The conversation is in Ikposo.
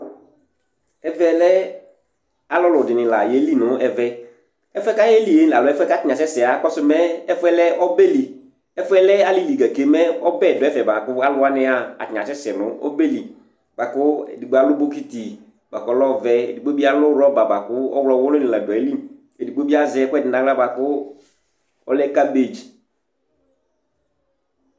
Ɛvɛlɛ alʋlʋ ɖìŋí la yeli ŋu ɛvɛ Ɛfʋɛ kʋ ayeli alo ɛfʋɛ kʋ ataŋi asɛsɛ, akakɔsu mɛ ɛfʋɛlɛ ɔbɛli ɛfʋɛlɛ alìlí gake mɛ ɔbɛ ɖu ɛfɛ bʋakʋ alu waŋi yaha ataŋi asɛsɛ ŋu ɔbɛli Bʋakʋ ɛɖigbo alu bucket bʋakʋ ɔlɛ ɔvɛ Ɛɖigbo bi alu rubber bʋakʋ ɔwlɔ wulʋ ni la ɖu ayìlí Ɛɖigbo bi azɛ ɛkʋɛɖi ŋu aɣla bʋakʋ ɔlɛ cabbage